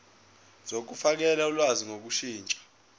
zokufakela ulwazi ngokushintsha